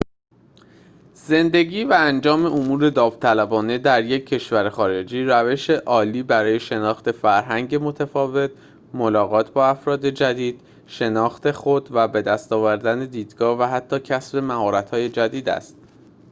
زندگی و انجام امور داوطلبانه در یک کشور خارجی روشی عالی برای شناخت فرهنگ متفاوت ملاقات با افراد جدید شناخت خود و بدست آوردن دیدگاه و حتی کسب مهارت‌های جدید است